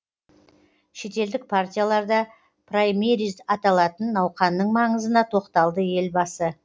шетелдік партияларда праймериз аталатын науқанның маңызына тоқталды елбасы